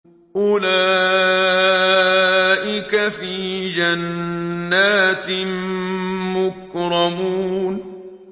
أُولَٰئِكَ فِي جَنَّاتٍ مُّكْرَمُونَ